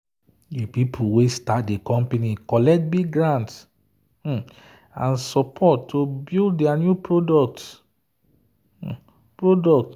the people wey start the company collect big grant and support to build their new product. product.